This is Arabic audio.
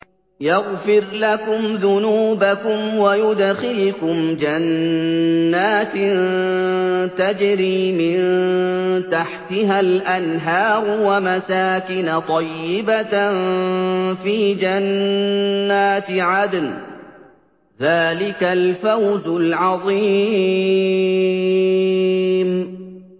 يَغْفِرْ لَكُمْ ذُنُوبَكُمْ وَيُدْخِلْكُمْ جَنَّاتٍ تَجْرِي مِن تَحْتِهَا الْأَنْهَارُ وَمَسَاكِنَ طَيِّبَةً فِي جَنَّاتِ عَدْنٍ ۚ ذَٰلِكَ الْفَوْزُ الْعَظِيمُ